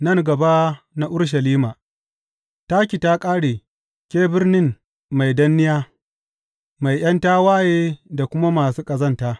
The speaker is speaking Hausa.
Nan gaba na Urushalima Taki ta ƙare, ke birnin mai danniya, mai ’yan tawaye da kuma masu ƙazanta!